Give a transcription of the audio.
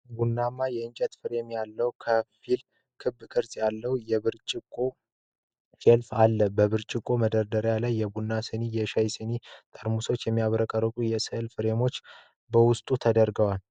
ቡናማ የእንጨት ፍሬም ያለው ከፊል ክብ ቅርጽ ያለው የብርጭቆ ሼልፍ አለ። በብርጭቆ መደርደሪያዎች ላይ የቡና ስኒዎች፣ የሻይ ሲኒዎች፣ ጠርሙሶችና የሚያብረቀርቅ የሥዕል ፍሬም በውስጡ ተደርድረዋል።